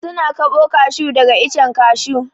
Su na kaɓo kashu daga icen kashu.